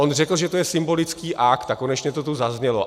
On řekl, že to je symbolický akt, a konečně to tu zaznělo.